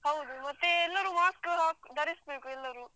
ಹೌದು ಮತ್ತೆ ಎಲ್ಲರೂ mask ಹಾಕ್ ಧರಿಸಬೇಕು ಎಲ್ಲರೂ.